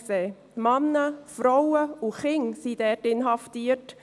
Dort sind Männer, Frauen und Kinder inhaftiert.